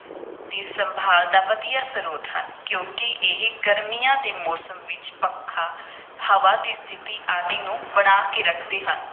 ਦੀ ਸੰਭਾਲ ਦਾ ਵਧੀਆ ਸਰੋਤ ਹਨ ਕਿਉਂਕਿ ਇਹ ਗਰਮੀਆਂ ਦੇ ਮੌਸਮ ਵਿਚ ਪੱਖਾ, ਹਵਾ ਦੀ ਸਥਿਤੀ ਆਦਿ ਨੂੰ ਬਣਾ ਕੇ ਰੱਖਦੇ ਹਨ।